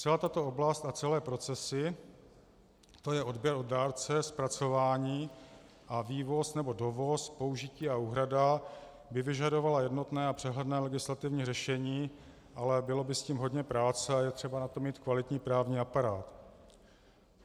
Celá tato oblast a celé procesy, to je odběr od dárce, zpracování a vývoz nebo dovoz, použití a úhrada, by vyžadovala jednotné a přehledné legislativní řešení, ale bylo by s tím hodně práce a je třeba na to mít kvalitní právní aparát.